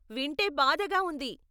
వింటే బాధగా ఉంది.